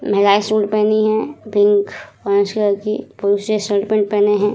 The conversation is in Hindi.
महिलायें शूट पहनी हैं पिंक उसके बाद पुरुषे शर्ट पेंट पहने हैं ।